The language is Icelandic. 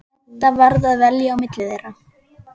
Edda varð að velja á milli þeirra.